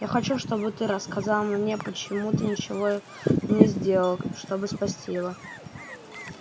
я хочу чтобы ты рассказал мне почему ты ничего не сделал чтобы спасти его